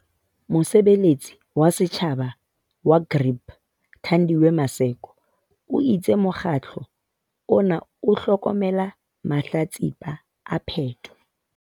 Mosebeletsi wa setjhaba wa GRIP, Thandiwe Maseko, o itse mokgatlo ona o hlokomela mahlatsipa a peto.